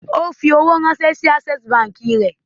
O fi owó ránṣẹ́ sí Access Báńkì rẹ̀.